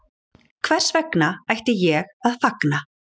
Hvers vegna ætti ég að fagna